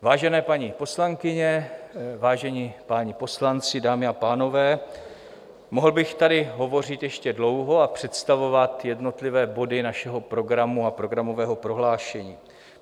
Vážené paní poslankyně, vážení páni poslanci, dámy a pánové, mohl bych tady hovořit ještě dlouho a představovat jednotlivé body našeho programu a programového prohlášení.